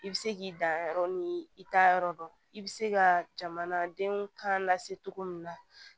I bɛ se k'i dan yɔrɔ ni i t'a yɔrɔ dɔn i bɛ se ka jamana denw kan lase cogo min na